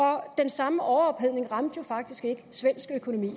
den samme overophedning ramte faktisk ikke svensk økonomi